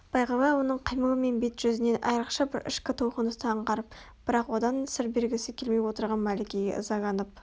бағила оның қимылы мен бет-жүзінен айрықша бір ішкі толқынысты аңғарып бірақ одан сыр бергісі келмей отырған мәликеге ызаланып